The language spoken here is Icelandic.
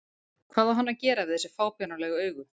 Hvað á hann að gera við þessi fábjánalegu augu?